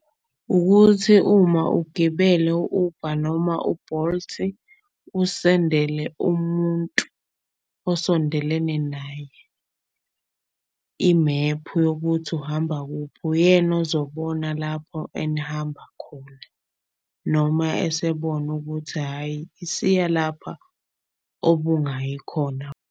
Ukuthi uma ugibele u-Uber noma u-Bolt-i usendele umuntu osondelene naye imephu yokuthi uhamba kuphi. Uyena ozobona lapho enihamba khona noma esebona ukuthi hhayi isiya lapha obungayi khona.